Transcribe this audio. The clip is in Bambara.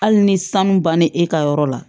Hali ni sanu banna e ka yɔrɔ la